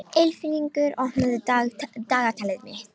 Ylfingur, opnaðu dagatalið mitt.